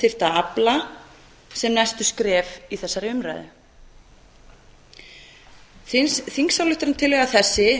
þyrfti að afla sem næstu skref í þessari umræðu þingsályktunartillaga þessi